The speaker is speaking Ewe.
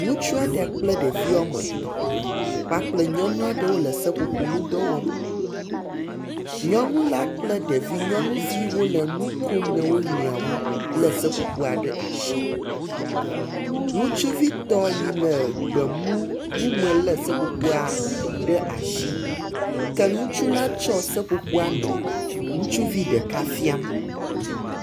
Ŋutsu aɖe kple ɖevi woame etɔ̃ kpakple nyɔnu aɖe wole seƒoƒo ŋudɔ wɔm, nyɔnu la kple ɖeviwo le nu kom na wo nɔewo lé seƒoƒo ɖe asi. Ŋutsuvitɔ si le gbe mu wu me la lé seƒoƒoa ɖe asi ke ŋutsu la tsɔ seƒoƒo la nɔ ŋutsuvi ɖeka fiam.